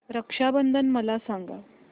रक्षा बंधन मला सांगा